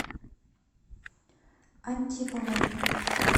антиповой